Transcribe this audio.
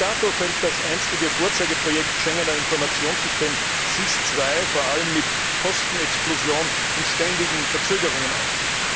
Bis dato fällt das einstige Vorzeigeprojekt Schengener Informationssystem, SIS II, vor allem mit Kostenexplosion und ständigen Verzögerungen auf.